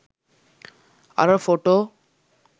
අර ෆොටෝ?